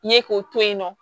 Ye k'o to yen nɔ